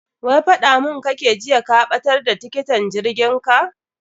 Wai faɗa mun kake jiya ka ɓatar da tiketin jirgin ka.